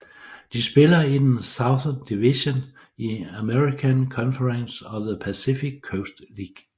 De spiller i den Southern Division i American Conference of the Pacific Coast League